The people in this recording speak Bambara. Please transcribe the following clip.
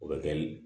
O bɛ kɛ ni